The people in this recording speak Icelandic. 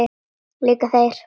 Líka þeir?